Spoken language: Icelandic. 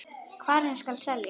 Hverjum skal selja?